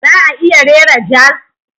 Za a iya rera jazz?